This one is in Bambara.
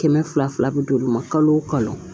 Kɛmɛ fila fila bɛ do u ma kalo o kalo